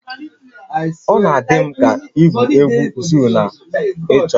Ọ na-adị m ka igwu egwu zoo na ịchọ